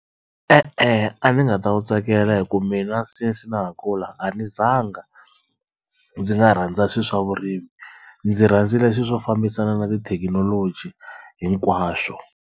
E-e a ndzi nga ta wu tsakela hi ku mina since na ha kula a ni zanga ndzi nga rhandza swilo swa vurimi ndzi rhandzile swilo swo fambisana na tithekinoloji hinkwaswo.